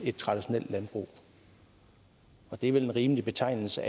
et traditionelt landbrug det er vel en rimelig betegnelse